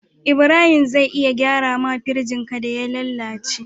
Ibrahim zai iya gyara ma firjin ka da ya lalace